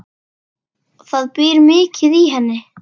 Það býr mikið í henni.